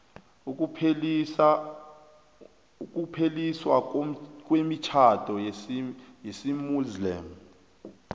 ukupheliswa kwemitjhado yesimuslimu